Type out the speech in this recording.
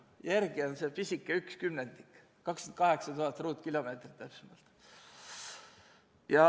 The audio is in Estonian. Järel on seal pisike 1/10 ehk 28 000 ruutkilomeetrit.